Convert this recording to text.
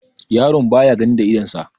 yaron baya gani da idonsa